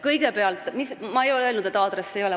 Kõigepealt, ma ei ole öelnud, et aadresse ei ole.